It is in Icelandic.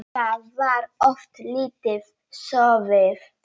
Þá var oft lítið sofið.